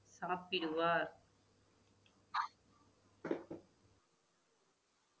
சாப்பிடுவார்